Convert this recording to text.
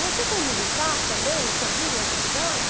Você como militar também não servia em outros lugares?